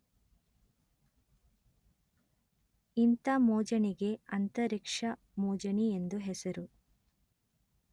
ಇಂಥ ಮೋಜಣಿಗೆ ಅಂತರಿಕ್ಷ ಮೋಜಣಿ ಎಂದು ಹೆಸರು